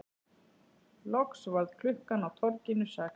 Loks varð klukkan á torginu sex.